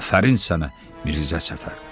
Afərin sənə, Mirzə Səfər.